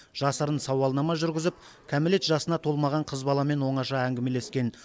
жасырын сауалнама жүргізіп кәмелет жасына толмаған қыз баламен оңаша әңгімелескен